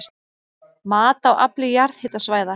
Mat á afli jarðhitasvæða